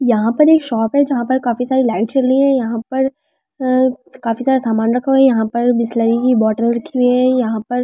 यहाँ पर एक शॉप है जहाँ पर काफ़ी ज्यादा लाइट जली है यहाँ पर अआ काफ़ी सारा सामान रखा हुआ है यहाँ पर बिसलेरी की बोतल रखी हुई है यहाँ पर--